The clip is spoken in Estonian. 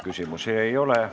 Küsimusi ei ole.